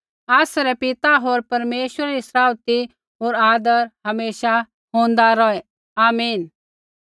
आसरै पिता होर परमेश्वरै री सराउथी होर आदर हमेशा होंदी रौहै ऐण्ढाऐ हो